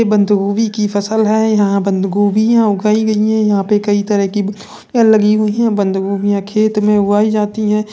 ये बंदगोभी की फसल है। यहाँ बंदगोभिया उगाई गयी हैं। यहाँ पर कई तरह की लगी हुई हैं। बंदगोभिया खेत में उगाई जाती हैं।